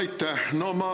Aitäh!